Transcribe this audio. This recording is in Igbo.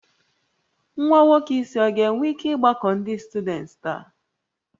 Nwa nwoke isi ọ ga-enwe ike ịgbakọ ndị syudents taa?